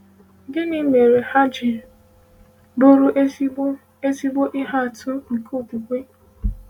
Gịnị mere ha ji bụrụ ezigbo ezigbo ihe atụ nke okwukwe?